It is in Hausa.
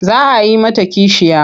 Za a yi mata kishiya.